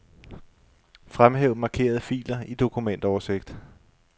Fremhæv markerede filer i dokumentoversigt.